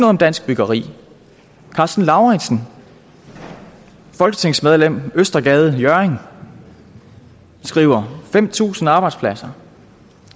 om dansk byggeri karsten lauritzen folketingsmedlem østergade hjørring skriver fem tusind arbejdspladser